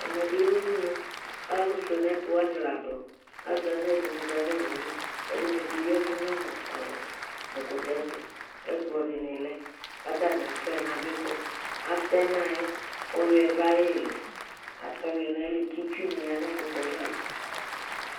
ɛmɛbilɛ udunu kɑlufuɛnɛtu wɑnilɑdu ạzɑnɛdini ɀɑnowuli ɛdinibi yɛvu nɛkutɛtu kɛkplodinilɛkɑ tɑniɑfuɛnạ bikɔ ɑtɛnɑyɛ kɔ huɛduɑyili ɑtɛoyuɛ kitsuni yanɛkuëtɛ ɑïdu